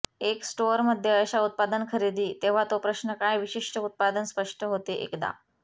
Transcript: एक स्टोअर मध्ये अशा उत्पादन खरेदी तेव्हा तो प्रश्न काय विशिष्ट उत्पादन स्पष्ट होते एकदा